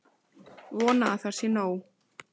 Vona að það sé nóg.